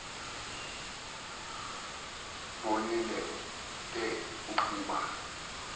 bonile ke ukuba